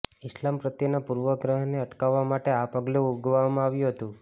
ઈસ્લામ પ્રત્યેના પૂર્વગ્રહને અટકાવવા માટે આ પગલું ઉગામવામાં આવ્યું છે